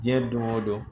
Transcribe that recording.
Diɲɛ don o don